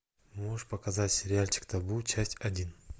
можешь показать сериальчик табу часть один